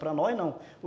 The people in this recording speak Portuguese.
Para nós, não.